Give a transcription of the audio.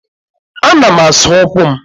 Ana m asa ụkwụ m.